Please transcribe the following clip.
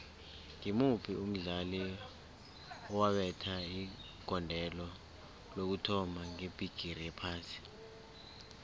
ngimuphi umdlali owabetha igondelo lokuthoma ngebhigiri yephasi